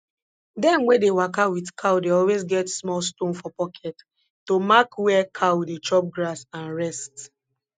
dem wey dey waka with cow dey always get small stone for pocket to mark where cow dey chop grass and rest